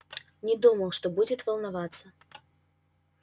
не думал что будет волноваться